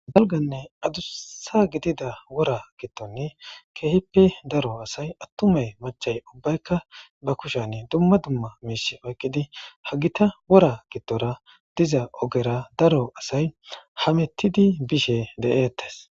galganne adussa gidida wora gittonni keehippe daro asay attumay machay ubbaykka ba kushan dumma dumma miish aygidi ha gita wora gittora diza ogera daro asay hamettidi bishe de7eettes